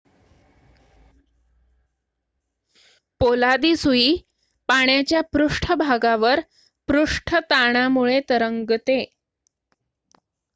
पोलादी सुई पाण्याच्या पृष्ठभागावर पृष्ठ ताणामुळे तरंगते